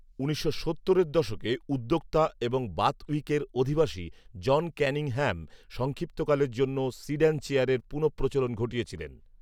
উনিশশো সত্তরের দশকে উদ্যোক্তা এবং বাথউইকের অধিবাসী "জন কানিংহ্যাম" সংক্ষিপ্তকালের জন্য সিড্যান চেয়ারের পুণঃপ্রচলন ঘটিয়েছিলেন